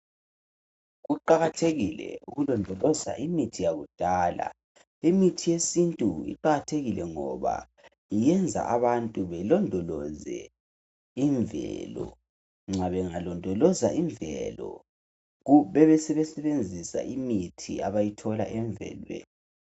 Kuqakathekile ukulondoloza imithi yakudala. Imithi yesintu iqakathekile ngoba iyenza abantu belondoloze imvelo. Nxa bengalondoloza imvelo bebesebesebenzisa imithi abazithola emvelweni.